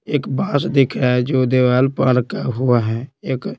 एक बांस दिख रहा है जो देवाल पर अरका हुआ है एक --